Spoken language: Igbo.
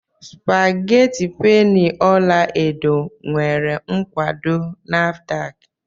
Spageti penny ọla edo nwere nkwado Nafdac?